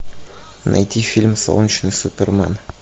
найти фильм солнечный супермен